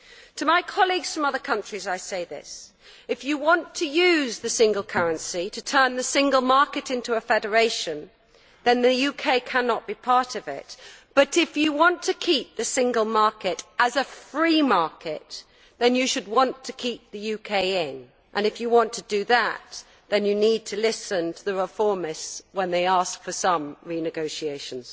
To my colleagues from other countries, I say this if you want to use the single currency to turn the single market into a federation, then the UK cannot be part of it, but if you want to keep the single market as a free market, then you should want to keep the UK in. If you want to do that, then you need to listen to the reformists when they ask for some renegotiations.